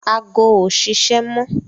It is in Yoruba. Ago ò ṣiṣẹ́ mọ